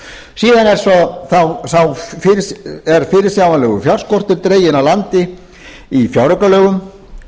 síðan er fyrirsjáanlegur fjárskortur dreginn að landi í fjáraukalögum